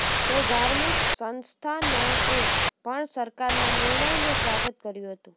તો ધાર્મિક સંસ્થાનોએ પણ સરકારનાં નિર્ણયનું સ્વાગત કર્યું હતું